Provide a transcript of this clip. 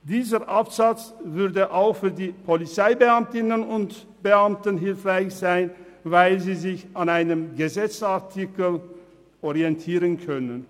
Dieser Absatz wäre auch für die Polizeibeamtinnen und Polizeibeamten hilfreich, weil sie sich dann an einem Gesetzesartikel orientieren können.